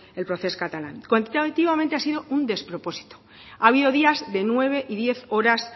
el procés catalán cuantitativamente ha sido un despropósito ha habido días de nueve y diez horas